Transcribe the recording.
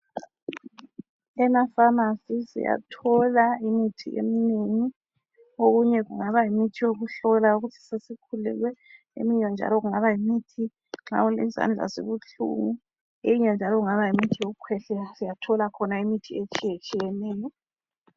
Emafamasi siyathola imithi eminingi. Okunye kungaba yimithi yokuhlola ukuthi sesikhulelwe, eminye njalo kungaba ngeyezandla ezibuhlungu, eyinye njalo kungaba ngeyokukhwehlela. Siyathola khona imithi etshiyetshiyeneyo.